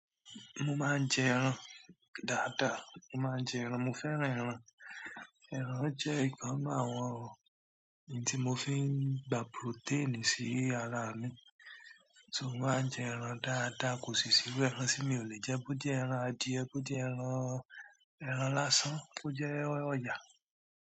Mo máa ń jẹ ẹran dáadáa. Mo máa ń jẹ ẹran, mo fẹ́ràn ẹran. Ẹran jẹ́ nńkan nù àwọn ohun tí mo fi ń gba protein sí ara mi. So mo máa ń jẹ ẹran dáadáa, kò sì írú ẹran tí mi ò lè jẹ, bó jẹ́ ẹran adìẹ, bó jẹ́ ẹran, ẹran lásán, bó jẹ́ ọ̀yà.